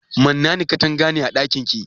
Mannani katanga ne a ɗakin ki?